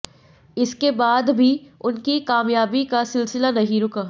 इसके बाद भी उनकी कामयाबी का सिलसिला नहीं रुका